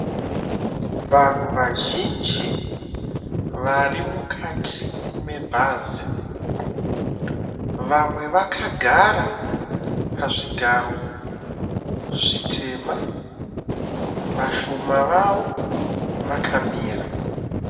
Vanhu vazhinji vari mukati mebhazi. Vamwe vakagara pazvigaro zvitema. Vashoma vavo vakamira.